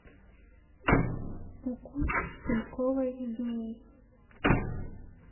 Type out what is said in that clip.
укус шпильковой змеи